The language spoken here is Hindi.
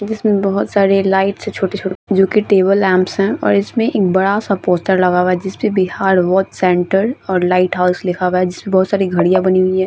जिसमें बहुत सारी लाइट है छोटी-छोटी जो की टेबल लैंप है और इसमें एक बड़ा सा पोस्टर लगा हुआ है। जिस पे बिहार वर्क सेंटर और लाइट हाउस लिखा हुआ है जिसमे बोहोत सारी घड़िया बनी हुई है।